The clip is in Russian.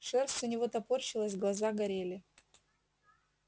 шерсть у него топорщилась глаза горели